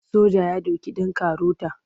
Soya ya doki ɗan karota.